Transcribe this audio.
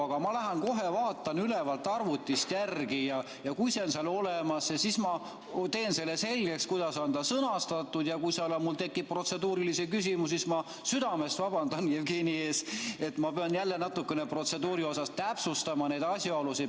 Aga ma lähen kohe vaatan ülevalt arvutist järele ja kui see on seal olemas, siis ma teen selgeks, kuidas see on sõnastatud, ja kui seal mul tekib protseduurilisi küsimusi, siis ma südamest vabandan Jevgeni ees, et ma pean jälle natukene protseduuri osas täpsustama neid asjaolusid.